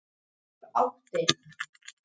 Viðtalið í heild